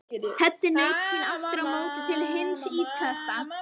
Teddi naut sín aftur á móti til hins ýtrasta.